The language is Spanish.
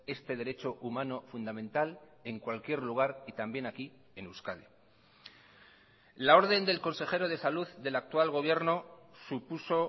este derecho humano fundamental en cualquier lugar y también aquí en euskadi la orden del consejero de salud del actual gobierno supuso